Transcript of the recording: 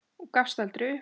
Og gafst aldrei upp.